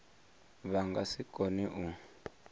vha nga si kone u